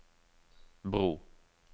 bro